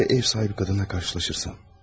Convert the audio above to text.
Ya ev sahibi kadınla karşılaşırsam?